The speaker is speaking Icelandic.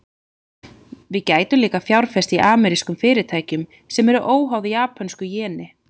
Við gætum líka fjárfest í amerískum fyrirtækjum, sem eru óháð japönsku jeni.